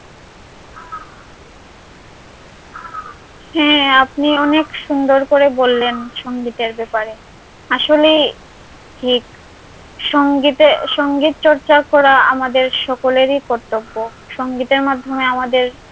হ্যাঁ আপনি অনেক সুন্দর করে বললেন সঙ্গীতের ব্যাপারে আসলে সঙ্গীতের সঙ্গীত চর্চা করা আমাদের সকলের কর্তব্য সঙ্গীতের মাধ্যমে আমাদের